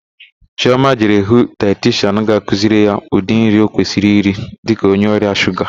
Chịọma jere hụ daetishian ga-akụziri ya ụdị nri ọ kwesịrị iri dịka onye ọrịa shuga.